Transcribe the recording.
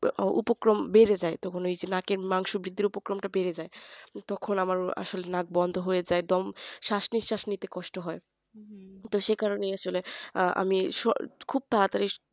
উপক্রম বেড়ে যায় তো মানে ওই যে নাখের মাংস বৃদ্ধ উপকমটা বেড়ে যায় তখন আমার মানে নাক বন্ধ হয়ে যায় একদম শ্বাস-নিশ্বাস নিতে কষ্ট হয়। তো সেই কারণে আমি খুব তাড়াতাড়ি